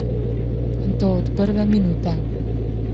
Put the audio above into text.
In to od prve minute.